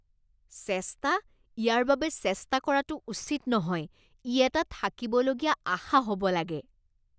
চেষ্টা? ইয়াৰ বাবে চেষ্টা কৰাটো উচিত নহয়, ই এটা থাকিবলগীয়া আশা হ'ব লাগে।